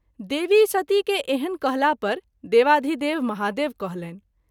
देवी सती के एहन कहला पर देवाधिदेव महादेव कहलनि।